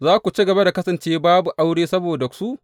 Za ku ci gaba da kasance babu aure saboda su?